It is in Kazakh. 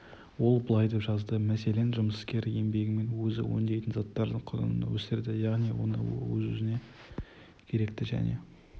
ол былай деп жазды мәселен жұмыскер еңбегімен өзі өңдейтін заттардың құнын өсіреді яғни оны өзіне керекті және